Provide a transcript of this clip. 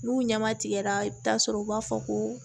N'u ɲama tigɛra i bi taa sɔrɔ u b'a fɔ ko